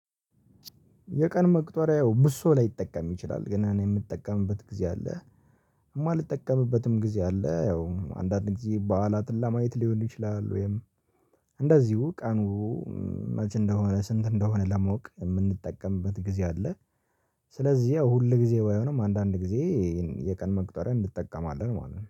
የቀን መቅጠሪያው ብዙ ሰው ላይጠቀም ይችላል ግን እኔ የምጠቀምበት ጊዜ አለ የማልጠቀምበትም ጊዜ አለ። ያው አንዳንድ ጊዜ በዓላትን ለማየት ሊሆን ይችላል ወይም እንደዚሁ ቀኑ መቼ እንደሆነ ስንት እንደሆነ ለማወቅ የምንጠቀምበት ጊዜ አለ። ስለዚህ ያው ሁል ጊዜ ባይሆንም አንዳንድ ጊዜ የቀን መቅጠሪያ እንጠቀማለን ማለት ነው